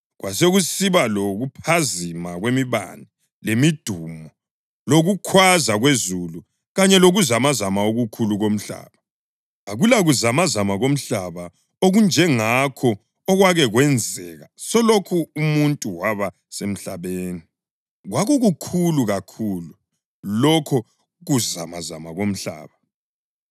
Kwasekusiba lokuphazima kwemibane lemidumo lokukhwaza kwezulu kanye lokuzamazama okukhulu komhlaba. Akulakuzamazama komhlaba okunjengakho okwake kwenzeka selokhu umuntu waba semhlabeni, kwakukukhulu kakhulu lokho kuzamazama komhlaba.